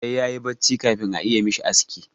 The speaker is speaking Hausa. Sai ya yi bacci kafin a iya mishi aski.